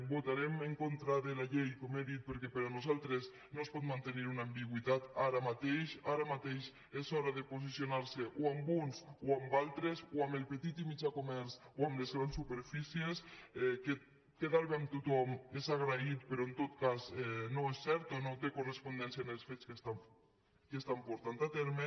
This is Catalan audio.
votarem en contra de la llei com he dit perquè per nosaltres no es pot mantenir una ambigüitat ara mateix ara mateix és hora de posicionar se o amb uns o amb els altres o amb el petit i mitjà comerç o amb les grans superfícies quedar bé amb tothom és agraït però en tot cas no és cert o no té correspondència amb els fets que s’estan portant a terme